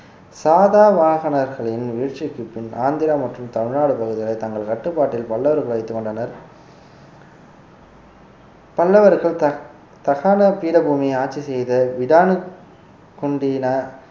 சாதாவாகனர்களின் வீழ்ச்சிக்கு பின் ஆந்திரா மற்றும் தமிழ்நாடு பகுதிகளை தங்கள் கட்டுப்பாட்டில் பல்லவர்கள் வைத்துக் கொண்டனர் பல்லவர்கள் தக்~ தக்காண பீடபூமியை ஆட்சி செய்த விடான